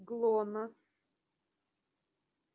много ты понимаешь оборвал её охотник